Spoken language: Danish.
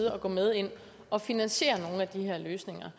at gå med ind og finansiere nogle af de her løsninger